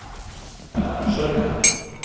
Sörli